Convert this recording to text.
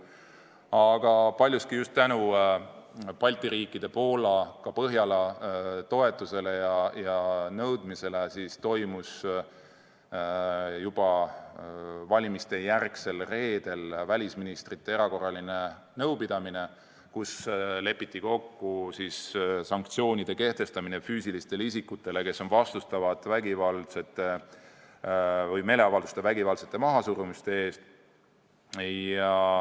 Aga paljuski just tänu Balti riikide, Poola ja ka Põhjala toetusele ja nõudmisele toimus juba valimistejärgsel reedel välisministrite erakorraline nõupidamine, kus lepiti kokku sanktsioonide kehtestamine füüsilistele isikutele, kes on vastutavad meeleavalduste vägivaldse mahasurumise eest.